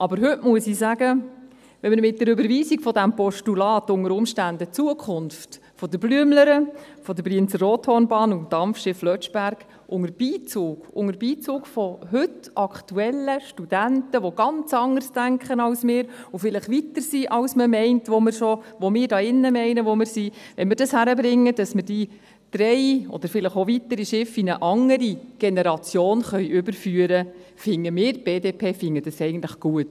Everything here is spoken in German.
Aber heute muss ich sagen: Wenn wir mit der Überweisung dieses Postulats unter Umständen die Zukunft der «Blüemlere», der Brienz-Rothorn-Bahn und des Dampfschiffs «Lötschberg» unter Beizug von heute aktuellen Studenten, die ganz anders denken als wir und vielleicht weiter sind, als man meint und als wir hier in diesem Saal meinen, dass wir es sind … Wenn wir es schaffen, diese drei – oder vielleicht auch weitere – Schiffe in eine andere Generation überführen zu können, dann finden wir, die BDP, dies eigentlich gut.